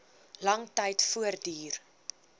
lang tyd voortduur